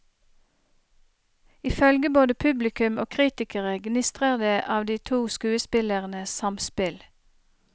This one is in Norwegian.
Ifølge både publikum og kritikere gnistrer det av de to skuespillernes samspill.